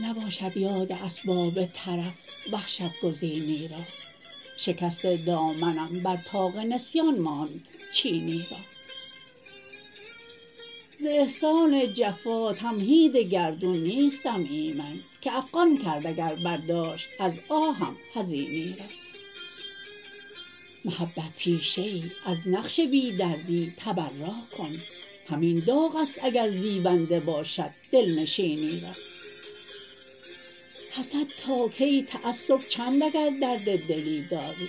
نباشد یاد اسباب طرف وحشت گزینی را شکست دامنم بر طاق نسیان ماند چینی را ز احسان جفا تمهید گردون نیستم ایمن که افغان کرد اگر برداشت از آهم حزینی را محبت پیشه ای از نقش بی دردی تبراکن همین داغ است اگر زیبنده باشد دلنشینی را حسد تاکی تعصب چند اگر درد دلی داری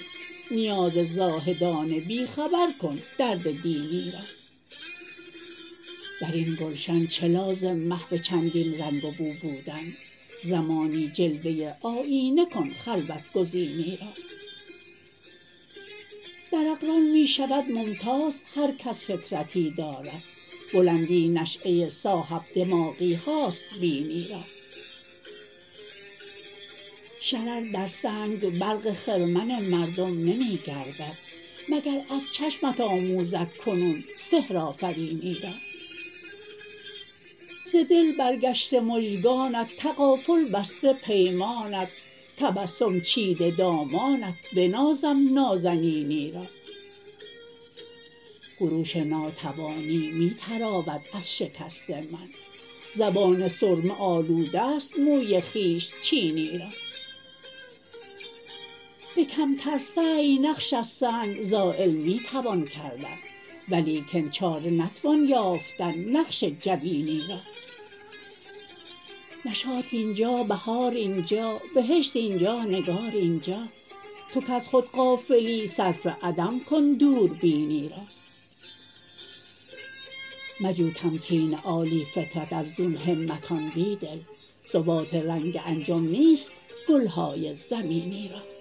نیاز زاهدان بیخبرکن درد دینی را درین گلشن چه لازم محو چندین رنگ وبوبودن زمانی جلوه آیینه کن خلوت گزینی را در اقران می شود ممتاز هرکس فطرتی دارد بلندی نشیه صاحب دماغیهاست بینی را شرر در سنگ برق خرمن مردم نمی گردد مگراز چشمت آموزدکنون سحرآفرینی را ز دل برگشته مژگانت تغافل بسته پیمانت تبسم چیده دامانت بنازم نازنینی را خروش ناتوانی می تراود از شکست من زبان سرمه آلود است موی خویش چینی را به کمتر سعی نقش از سنگ زایل می توان کردن ولیکن چاره نتوان یافتن نقش جبینی را نشاط اینجا بهار اینجا بهشت اینجا نگار اینجا توکز خود غافلی صرف عدم کن دوربینی را مجوتمکین عالی فطرت از دون همتان بیدل ثبات رنگ انجم نیست گلهای زمینی را